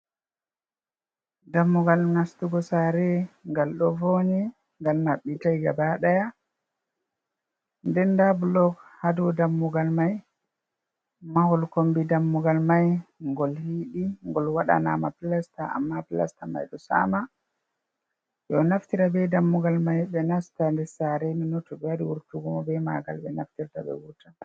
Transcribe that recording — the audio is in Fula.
Dammugal nastugo sare gal do vonyi gal mabbitai gabadaya den da blog hadau dammugal mai mahol kombi dammugal mai ngol hiidi gol wadana ma plasta amma plasta mai do sama do naftira be dammugal mai be nasta nder sare nonnon to be wari wurtugo mo be magal be naftirta be wurta.